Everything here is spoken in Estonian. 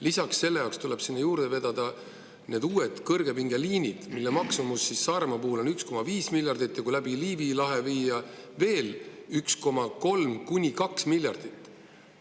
Lisaks, sinna tuleb juurde vedada uued kõrgepingeliinid, mille maksumus Saaremaa puhul on 1,5 miljardit, ja kui ühendused veel läbi Liivi lahe viia, siis on vaja 1,3–2 miljardit.